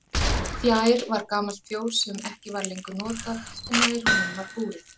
Fjær var gamalt fjós sem ekki var lengur notað en nær honum var búrið.